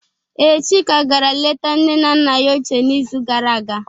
Ee, Chika gara leta nne na nna ya ochịe n'izu gara aga